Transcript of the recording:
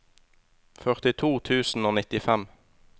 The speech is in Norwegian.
førtito tusen og nittifem